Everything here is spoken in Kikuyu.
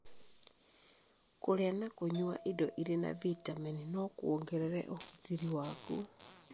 Kũrĩa na kũnyua indo irĩ na bitamini no kuongerere ũgitĩri waku.